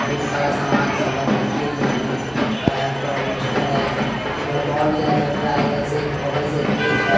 बहोत सारा सामान सब है देखिए नीचे पक्का है उपर अलवेस्टर है जल रहा है इधर से बगल से एक गेट है।